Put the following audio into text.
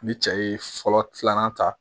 Ni cɛ ye fɔlɔ filanan ta